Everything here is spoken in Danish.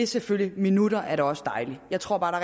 selvfølgelig minutter er da også dejlige jeg tror bare